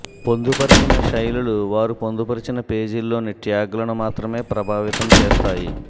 పొందుపర్చిన శైలులు వారు పొందుపర్చిన పేజీలోని ట్యాగ్లను మాత్రమే ప్రభావితం చేస్తాయి